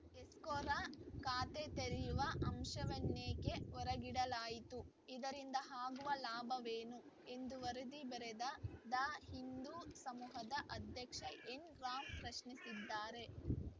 escrow ಖಾತೆ ತೆರೆಯುವ ಅಂಶವನ್ನೇಕೆ ಹೊರಗಿಡಲಾಯಿತು ಇದರಿಂದ ಆಗುವ ಲಾಭವೇನು ಎಂದು ವರದಿ ಬರೆದ ದ ಹಿಂದೂ ಸಮೂಹದ ಅಧ್ಯಕ್ಷ ಎನ್‌ ರಾಮ್‌ ಪ್ರಶ್ನಿಸಿದ್ದಾರೆ